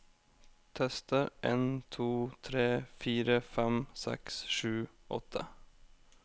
Tester en to tre fire fem seks sju åtte